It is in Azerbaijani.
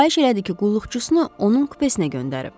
Xahiş elədi ki, qulluqçusunu onun kupesinə göndərib.